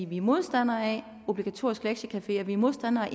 vi er modstandere af obligatorisk lektiecafé og vi er modstandere af